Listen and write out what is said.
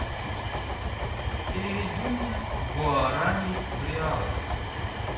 переведи мне гуарани в реалы